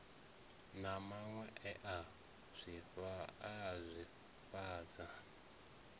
na maṅwe e a swifhadza